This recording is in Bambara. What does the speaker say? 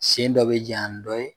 Sen dɔ be jaɲa ni dɔ ye